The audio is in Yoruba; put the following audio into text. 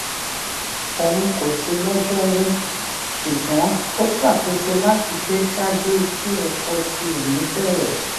oun ko si lọjọru ṣugbọn o ṣakoso lati de ṣaaju ki ẹkọ ti oni bẹrẹ